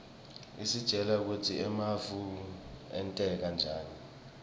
isitjela kutsi emafu enteka njani